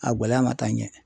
A gɔlɛya ma taa ɲɛ.